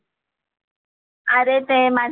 अरे ते माझ्या,